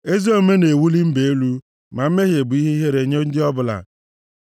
Ezi omume na-ewuli mba elu, ma mmehie bụ ihe ihere nye ndị ọbụla.